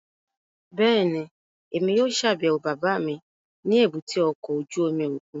Bẹ́ẹ̀ni, Emi yóò ṣabẹwo baba mi ni èbúté ọkọ ojú omi okun